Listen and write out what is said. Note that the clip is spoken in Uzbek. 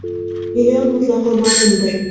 Million mutlaqo mavhumdir.